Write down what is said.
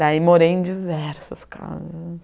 Daí morei em diversas casas.